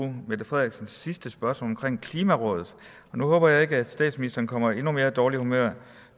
mette frederiksens sidste spørgsmål omkring klimaområdet nu håber jeg ikke at statsministeren kommer i endnu mere dårligt humør